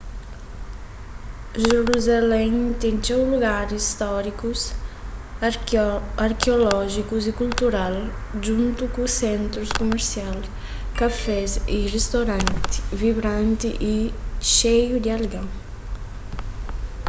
jerusalén ten txeu lugaris stórikus arkeolójikus y kultural djuntu ku sentrus kumersial kafés y ristoranti vibranti y xeiu di algen